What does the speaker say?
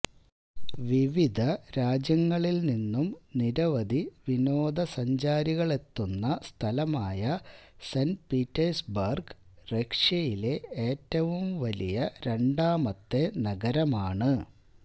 വിവിധ രാജ്യങ്ങളിൽനിന്നു നിരവധി വിനോദ സഞ്ചാരികളെത്തുന്ന സ്ഥലമായ സെന്റ് പീറ്റേഴ്സ് ബർഗ് റഷ്യയിലെ ഏറ്റവും വലിയ രണ്ടാമത്തെ നഗരമാണ്